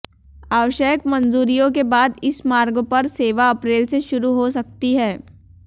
आवश्यक मंजूरियों के बाद इस मार्ग पर सेवा अप्रैल से शुरू हो सकती है